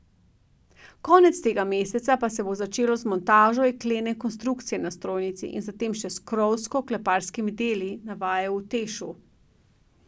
Konec tega meseca pa se bo začelo z montažo jeklene konstrukcije na strojnici in zatem še s krovsko kleparskimi deli, navajajo v Tešu.